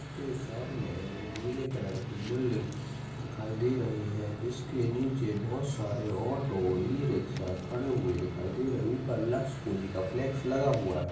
के सामने नीले कलर की बिल्डिंग दिखाई दे रही हैं जिसके नीचे बहोत सारे ऑटो ई रिक्शा खड़े हुए दिखाई दे रही हैं ऊपर लक्स कोजी का फ्लैक्स लगा हुआ हैं।